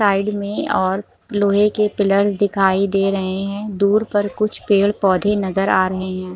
Side में और लोहे के पिलर्स दिखाई दे रहे हैं दूर पर कुछ पेड़-पौधे नज़र आ रहे हैं।